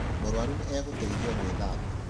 Mũruaru nĩ agũteithio gũĩthaba.